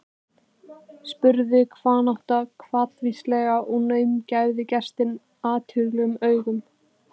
spurði hnátan hvatvíslega og gaumgæfði gestinn athugulum augum.